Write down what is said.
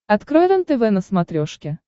открой рентв на смотрешке